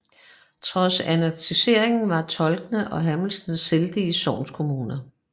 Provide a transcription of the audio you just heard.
Trods annekteringen var Tolne og Hørmested selvstændige sognekommuner